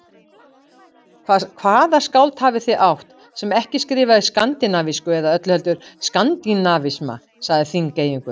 Hvaða skáld hafið þið átt, sem ekki skrifaði skandinavísku eða öllu heldur skandinavisma, sagði Þingeyingur.